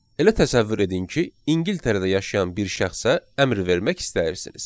Elə təsəvvür edin ki, İngiltərədə yaşayan bir şəxsə əmr vermək istəyirsiniz.